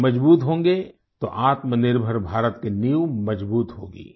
ये मजबूत होंगे तो आत्मनिर्भर भारत की नींव मजबूत होगी